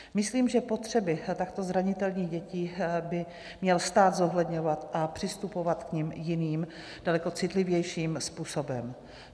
Myslím, že potřeby takto zranitelných dětí by měl stát zohledňovat a přistupovat k nim jiným, daleko citlivějším způsobem.